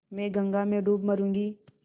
मैं गंगा में डूब मरुँगी